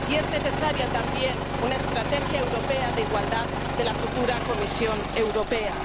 Y es necesaria también una estrategia europea de igualdad de la futura Comisión Europea.